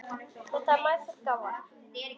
Þetta var meðfædd gáfa.